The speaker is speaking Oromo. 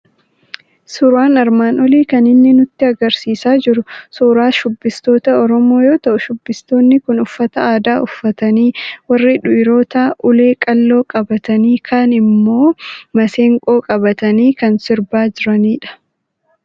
Suuraan armaan olii kan inni nutti argisiisaa jiru suuraa shubbistoota Oromoo yoo ta'u, shubbistootni kun uffata aadaa uffatanii, warri dhiirotaa ulee qalloo qabatanii, kaan immoo masenqoo qabatanii kan sirbaa jiranidha.